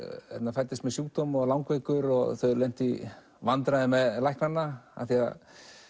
fæddist með sjúkdóm var langveikur og þau lentu í vandræðum með læknana af því að